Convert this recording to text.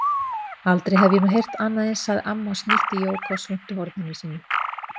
Aldrei hef ég nú heyrt annað eins, sagði amma og snýtti Jóku á svuntuhorninu sínu.